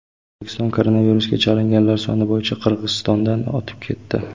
O‘zbekiston koronavirusga chalinganlar soni bo‘yicha Qirg‘izistondan o‘tib ketdi.